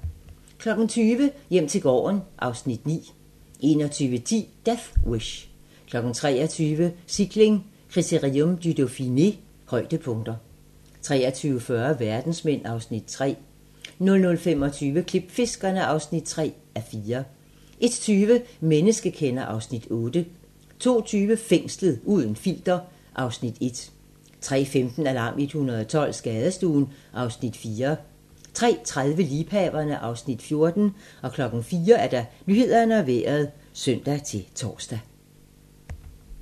20:00: Hjem til gården (Afs. 9) 21:10: Death Wish 23:00: Cykling: Critérium du Dauphiné - højdepunkter 23:40: Verdensmænd (Afs. 3) 00:25: Klipfiskerne (3:10) 01:20: Menneskekender (Afs. 8) 02:20: Fængslet - uden filter (Afs. 1) 03:15: Alarm 112 - Skadestuen (Afs. 4) 03:30: Liebhaverne (Afs. 14) 04:00: Nyhederne og Vejret (søn-tor)